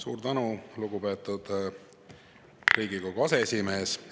Suur tänu, lugupeetud Riigikogu aseesimees!